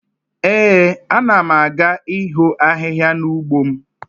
Ee, a na m aga iho ahihia n'ugbo m